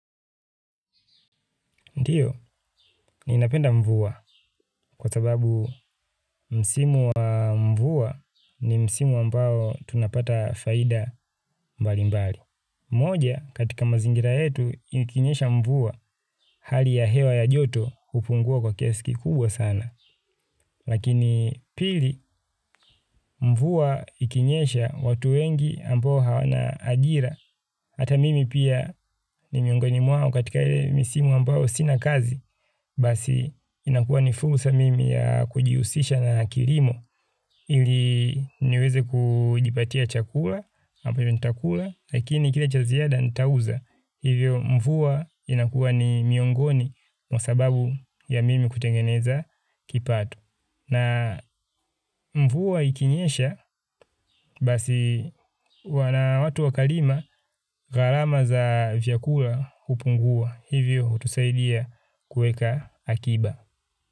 Ndiyo, ninapenda mvua kwa sababu msimu wa mvua ni msimu ambao tunapata faida mbalimbali. Moja, katika mazingira yetu, ikinyesha mvua hali ya hewa ya joto kufungua kwa kiasi kikubwa sana. Lakini pili, mvua ikinyesha watu wengi ambao hawana agira. Hata mimi pia ni miongoni mwao katika ile misimu ambao sina kazi, basi inakuwa ni fulsa mimi ya kujiusisha na kirimo, ili niweze kujipatia chakula, ambayo nitakula, lakini kila cha ziada nitauza. Hivyo mvua inakua ni miongoni mwa sababu ya mimi kutengeneza kipato. Na mvua ikinyesha basi wana watu wakalima gharama za vyakura hupungua. Hivyo hutusaidia kuweka akiba.